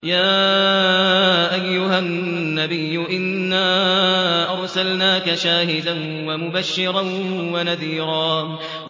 يَا أَيُّهَا النَّبِيُّ إِنَّا أَرْسَلْنَاكَ شَاهِدًا وَمُبَشِّرًا وَنَذِيرًا